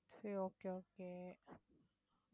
சரி okay okay